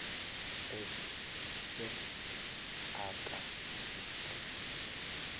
ese akha igrafu